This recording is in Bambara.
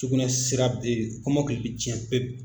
Sugunɛ sira bɛ, kɔmɔkili bɛ tiɲɛ pep.